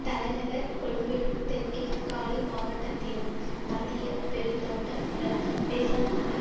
தலைநகர் கொழும்பிலும் தெற்கில் காலி மாவட்டத்திலும் மத்திய பெருந்தோட்ட பிரதேசமான